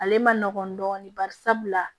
Ale man nɔgɔn dɔɔnin bari sabula